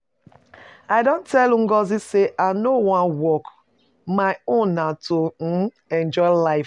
I don tell Ngozi say I no wan work. My own na to um enjoy life.